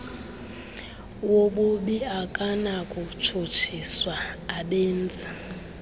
wobubi akanakutshutshiswa abenzi